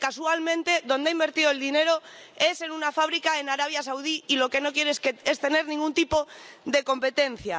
Porque, casualmente, donde ha invertido el dinero es en una fábrica en Arabia Saudí y lo que no quiere es tener ningún tipo de competencia